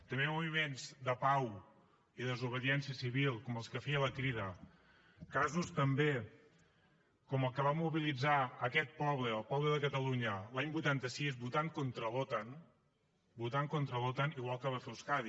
també moviments de pau i desobediència civil com els que feia la crida casos també com el que va mobilitzar aquest poble el poble de catalunya l’any vuitanta sis votant contra l’otan votant contra l’otan igual que va fer euskadi